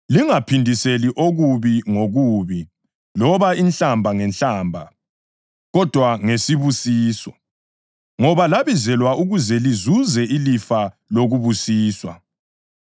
Lingaphindiseli okubi ngokubi loba inhlamba ngenhlamba, kodwa ngesibusiso, ngoba labizelwa ukuze lizuze ilifa lokubusiswa.